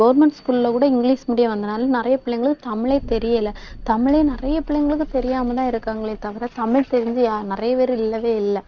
government school ல கூட English medium வந்ததுனால நிறைய பிள்ளைங்களுக்கு தமிழே தெரியலே தமிழே நிறைய பிள்ளைங்களுக்கு தெரியாமதான் இருக்காங்களே தவிர தமிழ் தெரிஞ்சு யா~ நிறைய பேர் இல்லவே இல்லை